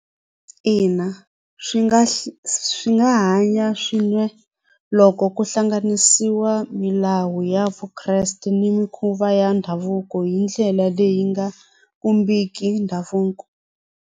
Ina swi nga swi nga hanya swin'we loko ku hlanganisiwa milawu ya Vukreste ni mikhuva ya ndhavuko hi ndlela leyi nga khumbhiki ndhavuko.